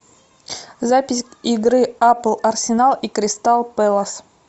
запись игры апл арсенал и кристал пэлас